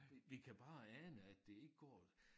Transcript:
Vi vi kan bare ane at det ikke går